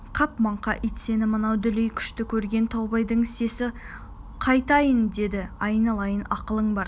қап маңқа ит сені ме мынау дүлей күшті көрген таубайдың сесі қайтайын деді айналайын ақылың бар